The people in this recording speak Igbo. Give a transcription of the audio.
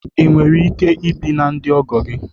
Ị nwere ike ibi na ndị ọgọ gị?